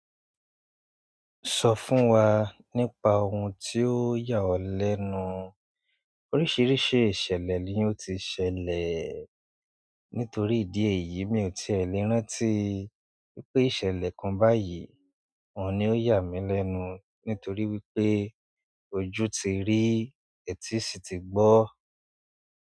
Sọ fún wa nípa ohun tí ó yà ọ́ lẹ́nu. Oríṣìíríṣìí ìṣẹ̀lẹ̀ ni ó ti ṣẹlẹ̀. Nítorí ìdí èyí, mi ò tiẹ̀ le rántí pé ìṣẹ̀lẹ̀ kan báyìí òun ni ó yà mí lẹ́nu. Nítorí wípé ojú ti rí, etí sì ti gbọ́.